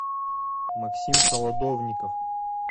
максим солодовников